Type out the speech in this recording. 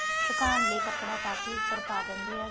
ਸੁਕਾਣ ਲਈ ਕਪੜਾ ਪਾ ਕੇ ਉਪਰ ਪਾ ਦਿੰਦੇ ਏ ਹੇਗੇ